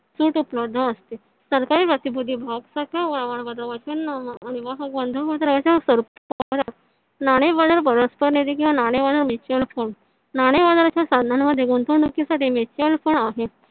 सूट उपलब्ध असते सरकारी नाणे बाजार नाणे बाजार mutual fund नाणे बाजाराच्या साधनांमध्ये गुंतवणुकीसाठी mutual fund आहे